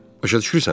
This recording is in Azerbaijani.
Başa düşürsənmi?